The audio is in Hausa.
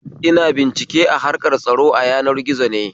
Ina bincike a harkar tsaro a yanar gizo ne